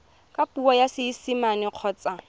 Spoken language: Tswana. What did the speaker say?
ka puo ya seesimane kgotsa